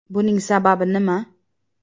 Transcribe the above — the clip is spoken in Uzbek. Buning sababi nima?.